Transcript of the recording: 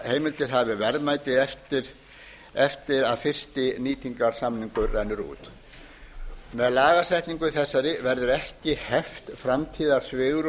aflaheimildir hafi verðmæti eftir að fiskinýtingarsamningur rennur út með lagasetningu þessari verður ekki heft framtíðarsvigrúm